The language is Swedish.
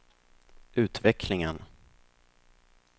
utvecklingen